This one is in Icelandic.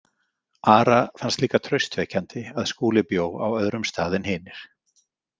Ara fannst líka traustvekjandi að Skúli bjó á öðrum stað en hinir.